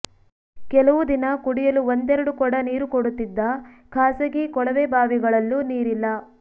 ಕೆಲವು ದಿನ ಕುಡಿಯಲು ಒಂದೆರೆಡು ಕೊಡ ನೀರು ಕೊಡುತ್ತಿದ್ದ ಖಾಸಗಿ ಕೊಳವೆಬಾವಿಗಳಲ್ಲೂ ನೀರಿಲ್ಲ